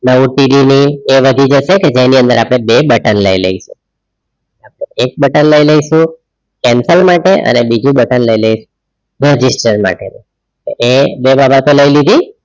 ન OTD ની એ નથી જશે કે જેની અંદર આપણે બે button લઇ લઇસ એક button લઇ લઇસુ cancel માટે અને બીજું button લઇ લઇસ register માટે એ લઇ લીધી